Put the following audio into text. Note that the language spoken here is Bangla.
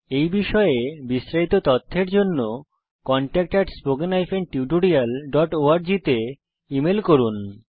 এই বিষয়ে বিস্তারিত তথ্যের জন্য contact at spoken hyphen tutorial dot org তে ইমেল করুন